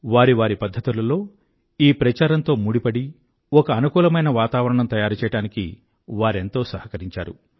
వారి వారి పధ్ధతులలో ఈ ప్రచారంతో ముడిపడి ఒక అనుకూలమైన వాతావరణం తయారుచెయ్యడానికి వారెంతో సహకరించారు